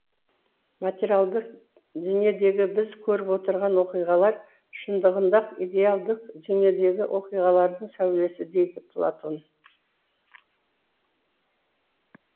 материалдық дүниедегі біз көріп отырған оқиғалар шындығында ақ идеалдық дүниедегі оқиғалардың сәулесі дейді платон